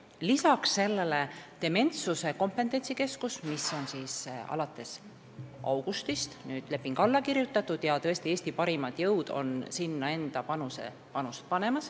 Lisaks sellele kirjutati augustis alla dementsuse kompetentsikeskuse lepingule ja Eesti parimad jõud on valmis sinna enda panust panema.